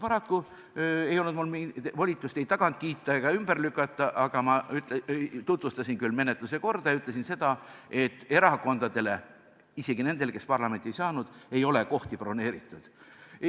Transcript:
Paraku ei olnud mul volitust ei tagant kiita ega ümber lükata, küll aga tutvustasin ma menetluse korda ja ütlesin seda, et erakondadele, isegi nendele, kes parlamenti ei saanud, ei ole kohti broneeritud.